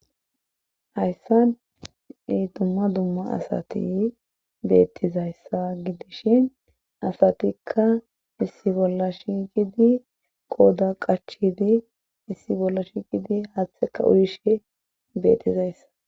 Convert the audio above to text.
hayssa dumma dumma asati bettizayssa gidishi asatikka issi bolla shigidi qooda qachidi issi bolla shigidi haaththeka uyishe beettizayssa